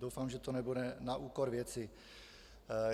Doufám, že to nebude na úkor věci.